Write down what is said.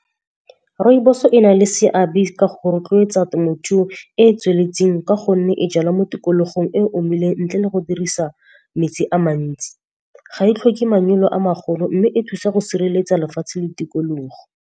Rooibos-o e na le seabe ka go rotloetsa temothuo e e tsweletseng ka gonne e jalwa mo tikologong e omileng ntle le go dirisa metsi a mantsi. Ga e tlhoke manyalo a magolo, mme e thusa go sireletsa lefatshe le tikologo.